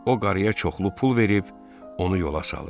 O qarıya çoxlu pul verib, onu yola salır.